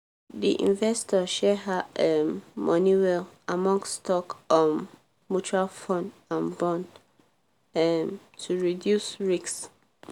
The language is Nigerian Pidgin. the investor share her um money well among stock um mutual fund and bond um to reduce risk.